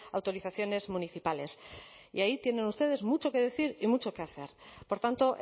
autorizaciones municipales y ahí tienen ustedes mucho que decir y mucho que hacer por tanto